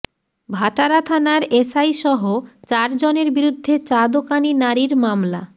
ভাটারা থানার এসআইসহ চারজনের বিরুদ্ধে চা দোকানি নারীর মামলা